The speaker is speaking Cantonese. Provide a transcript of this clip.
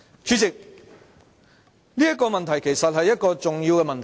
主席，這是一個重要的問題。